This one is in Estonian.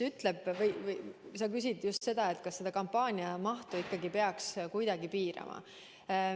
Sa küsisid ka, kas kampaania mahtu peaks kuidagi piirama.